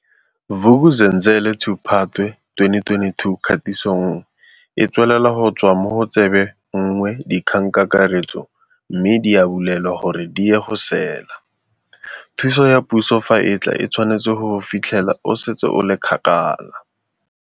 Vuk'uzenzele2Phatwe 2022 Kgatiso 1E tswelela go tswa mo go tsebe 1 DIKGANGKAKARETSO mme di a bulelwa gore di ye go sela. "Thuso ya puso fa e tla e tshwanetse go go fitlhela o setse o le kgakala."